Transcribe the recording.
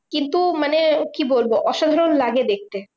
কিন্তু মানে কি বলবো? অসাধারণ লাগে দেখতে।